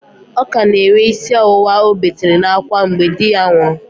Ọ ka na-enwe ísí ọwụwa ọ betere n'ákwá mgbe di ya nwụrụ